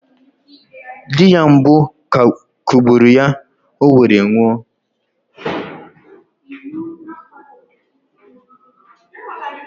Di ya mbụ kụgburụ ya owere nwoụ